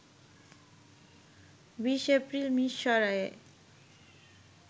২০ April মিরসরাইয়ে